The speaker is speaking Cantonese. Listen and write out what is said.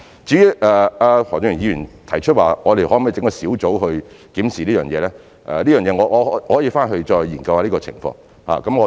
至於何俊賢議員提出我們可否成立小組來檢視這方面事宜，就此，我可以回去後研究這情況。